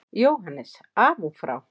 JÓHANNES: Af og frá!